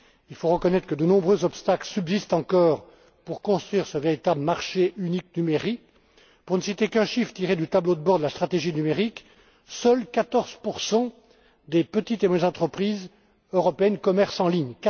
politique. Il faut reconnaître que de nombreux obstacles subsistent encore pour construire ce véritable marché unique numérique. Pour ne citer qu'un chiffre tiré du tableau de bord de la stratégie numérique, seuls 14 des petites et moyennes entreprises européennes commercent